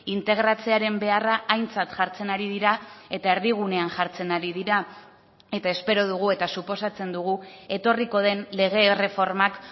integratzearen beharra aintzat jartzen ari dira eta erdigunean jartzen ari dira eta espero dugu eta suposatzen dugu etorriko den lege erreformak